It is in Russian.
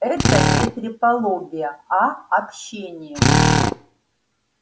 это не трепология а общение